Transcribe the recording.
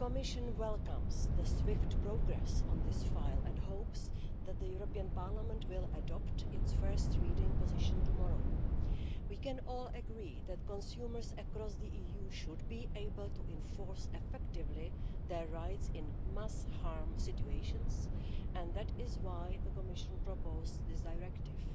The Commission welcomes the swift progress on this file and hopes that Parliament will adopt its first reading position tomorrow. We can all agree that consumers across the EU should be able to enforce their rights effectively in mass harm' situations, and that is why the Commission proposed this directive.